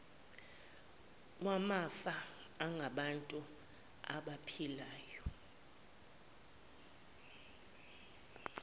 wamafa angabantu abaphilayo